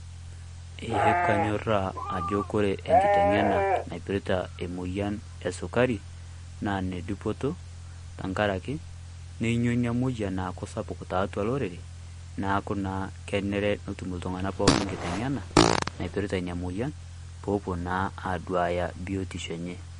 Ee kanyorra ajo ore enkiteng'ena naipirta emoyian esukari naa enedupoto tenkaraki neenyu ena moyian aaku sapuk tiatua olorere neekunnaa kenare netum iltung'anak pookin enkiteng'ena naipirta ina moyian peepuo naa aaduaya biotisho enye.